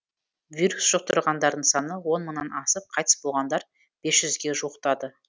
вирус жұқтырғандардың саны он мыңнан асып қайтыс болғандар бес жүзге жуықтады